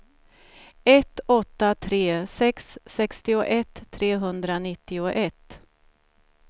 ett åtta tre sex sextioett trehundranittioett